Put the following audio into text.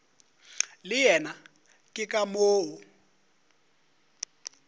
le yena ke ka moo